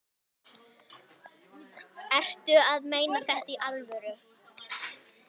Ertu að meina þetta í alvöru?